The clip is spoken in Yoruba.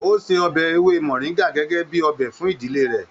O se ọbẹ ewé moringa gẹgẹ bíi ọbẹ fún ìdílé rẹ.